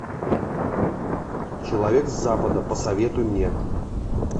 человек с запада посоветуй мне